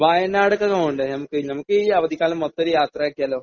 വയനാട്ടിലേക്ക് പോകണ്ടേ നമുക്ക്? നമുക്ക് ഈ അവധിക്കാലം മൊത്തം ഒരു യാത്രയാക്കിയാലോ?